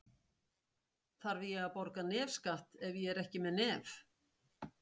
Þarf ég að borga nefskatt ef ég er ekki með nef?